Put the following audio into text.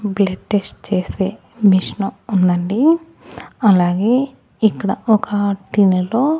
blood test చేసే machine ఉందండి అలాగే ఇక్కడ ఒక గిన్నెలో--